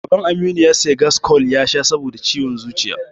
Baban Aminu ya sayi gaskool ya sha saboda suyan zuciya.